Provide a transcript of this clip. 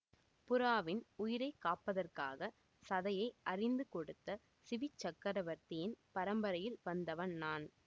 புறாவின் உயிரை காப்பதற்காகச் சதையை அரிந்து கொடுத்த சிபிச் சக்கரவர்த்தியின் பரம்பரையில் வந்தவன் நான்